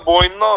Yəni boynuna al.